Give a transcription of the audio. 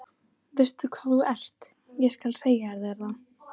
Veistu hvað þú ert, ég skal segja þér það.